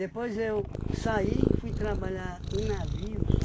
eu saí, fui trabalhar em navios,